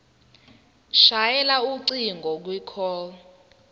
shayela ucingo kwicall